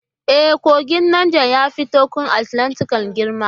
E, kogin Nijar ya fi Tekun Atlantika girma.